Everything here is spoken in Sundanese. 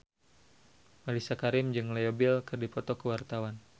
Mellisa Karim jeung Leo Bill keur dipoto ku wartawan